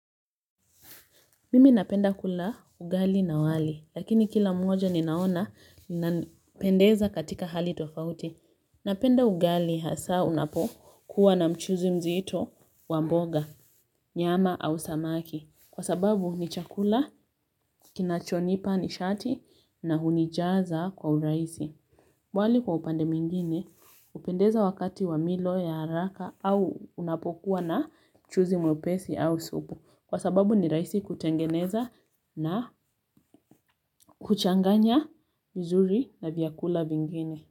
Mimi napenda kula ugali na wali, lakini kila mmoja ninaona na pendeza katika hali tofauti. Napenda ugali hasa unapo kuwa na mchuuzi mzito wa mboga, nyama au samaki. Kwa sababu ni chakula, kinachonipa nishati na hunijaza kwa uraisi. Wali kwa upande mwingine, upendeza wakati wa milo ya haraka au unapokuwa na mchuuzi mwepesi au supu. Kwa sababu ni rahisi kutengeneza na kuchanganya vizuri na vyakula vingine.